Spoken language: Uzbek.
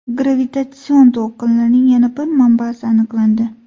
Gravitatsion to‘lqinlarning yana bir manbasi aniqlandi.